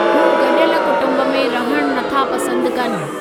हू गॾियल कुटुंब में रहणु नथा पसंदि कनि।